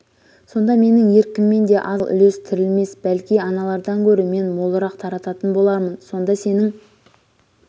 сонда менің еркіммен де аз мал үлес-тірілмес бәлки аналардан гөрі мен молырақ тарататын бо-лармын сонда сенің